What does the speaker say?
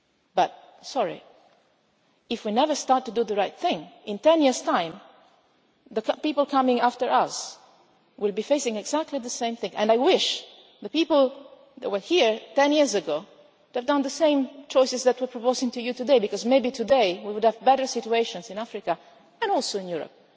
No. But sorry, if we never start to do the right thing, in 10 years' time the people who come after us will be facing exactly the same thing and I wish the people that were here 10 years ago had made the same choices as we are proposing to you today, because maybe today we would have better situations in Africa and also in